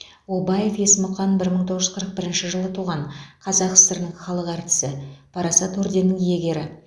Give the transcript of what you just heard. обаев есмұқан бір мың тоғыз жүз қырық бірінші жылы туған қазақ сср інің халық әртісі парасат орденінің иегері